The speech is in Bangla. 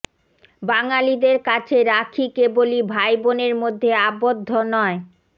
বাঙালিদের কাছে রাখি কেবলই ভাই বোনের মধ্যে আবদ্ধ নয়